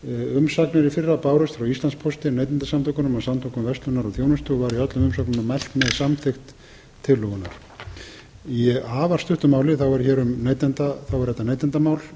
umsagnir í fyrra bárust frá íslandspósti neytendasamtökunum og samtökum verslunar og þjónustu og var í öllum umsögnunum mælt með samþykkt tillögunnar í afar stuttu máli er þetta neytendamál